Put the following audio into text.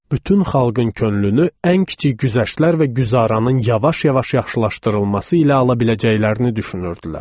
Bütün xalqın könlünü ən kiçik güzəştlər və güzaranın yavaş-yavaş yaxşılaşdırılması ilə ala biləcəklərini düşünürdülər.